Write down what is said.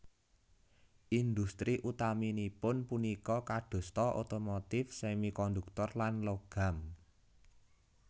Industri utaminipun punika kadosta otomotif semikonduktor lan logam